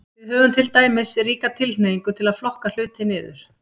Við höfum til dæmis ríka tilhneigingu til að flokka hluti niður.